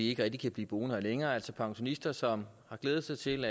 ikke rigtig kan blive boende der længere altså pensionister som har glædet sig til